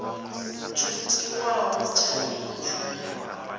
tsho tiwaho tsha heyi tshumelo